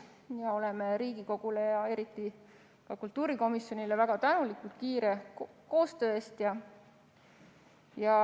Me oleme Riigikogule ja eriti kultuurikomisjonile väga tänulikud kiire koostöö eest.